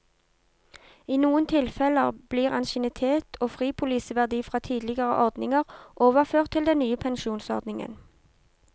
I noen tilfeller blir ansiennitet og fripoliseverdi fra tidligere ordninger overført til den nye pensjonsordningen.